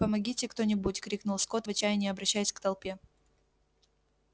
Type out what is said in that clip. помогите кто-нибудь крикнул скотт в отчаянии обращаясь к толпе